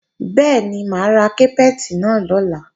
Bẹ́ẹ̀ni, mà á ra kápẹ́ẹ̀tì náà lọ́la